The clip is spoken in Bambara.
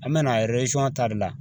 An bɛna ta de la